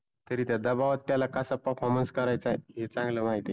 तरी त्या दबावात त्याला कसा performance करायचा आहे हे चांगल माहिती आहे.